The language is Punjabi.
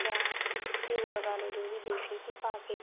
ਜਾਂ ਘਿਉ ਲਗਾਲੋ ਜੋ ਵੀ ਦੇਸੀ ਘੀ ਪਾ ਕੇ